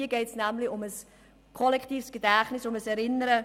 Es geht hier um das kollektive Gedächtnis, um ein Erinnern.